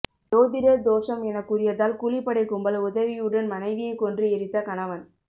ஜோதிடர் தோஷம் என கூறியதால் கூலிப்படை கும்பல் உதவியுடன் மனைவியை கொன்று எரித்த கணவன்